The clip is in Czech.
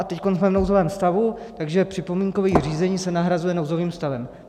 A teď jsme v nouzovém stavu, takže připomínkové řízení se nahrazuje nouzovým stavem.